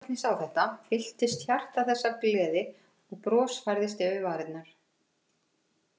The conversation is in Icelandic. Þegar Jesúbarnið sá þetta, fylltist hjarta þess af gleði og bros færðist yfir varir.